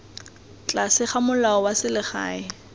tlase ga molao wa selegae